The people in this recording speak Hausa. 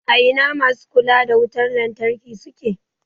A ina masu kula da wutan lantarki suke?